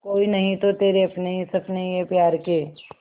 कोई नहीं तो तेरे अपने हैं सपने ये प्यार के